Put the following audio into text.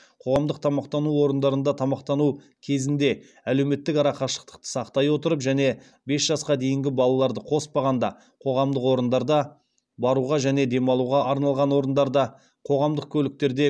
қоғамдық тамақтану орындарында тамақтану кезінде әлеуметтік арақашықтықты сақтай отырып және бес жасқа дейінгі балаларды коспағанда қоғамдық орындарда баруға және демалуға арналған орындарда қоғамдық көліктерде